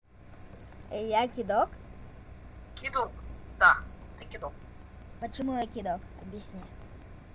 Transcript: я кидок кидок да ты кидок почему я кидок объясни